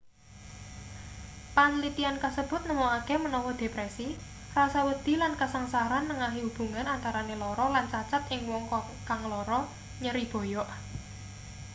panlitian kasebut nemokake menawa depresi rasa wedi lan kasangsaran nengahi hubungan antarane lara lan cacat ing wong kang lara nyeri boyok